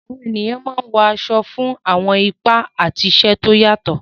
Àwọn ènìyàn máa ń wọ aṣọ fún àwọn ipa àti iṣẹ́ tó yàtọ̀.